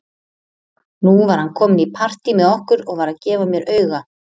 Nú var hann kominn í partí með okkur og var að gefa mér auga.